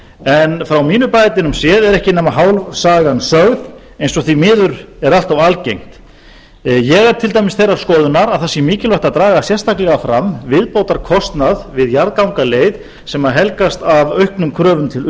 en frá mínum bæjardyrum séð er ekki nema hálf sagan sögð eins og því miður er allt of algengt ég er til dæmis þeirrar skoðunar að það sé mikilvægt að draga sérstaklega fram viðbótarkostnað við jarðgangaleið sem helgast af auknum kröfum til